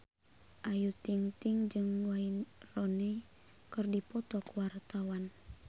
Ayu Ting-ting jeung Wayne Rooney keur dipoto ku wartawan